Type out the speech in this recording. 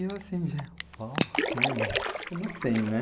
E eu assim, de uau, de, como assim, né?